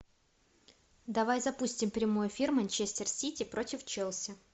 давай запустим прямой эфир манчестер сити против челси